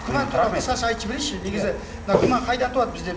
күмән туралы қысқаша айтып жіберейінші негізі мына күмән қайдан туады бізде